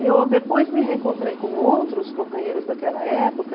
E eu depois me reencontrei com outros companheiros daquela época.